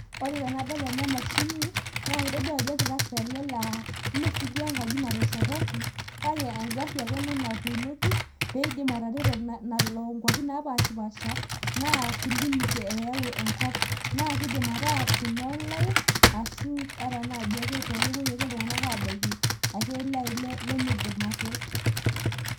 ore tenadol ena mashini naa kitodlu ajo ol tractor ele laa ime siduo enkaji ena nateshetaki kake egari ake ena natuunoki pee idim atareto lelo ,nalo nkuapi naapashipaasha naa, clinic eyau enkop, naa kidim ataa ene online ashu ata naaji ake kepuoi ake iltunganak aabaiki ake naai lemeidim ate.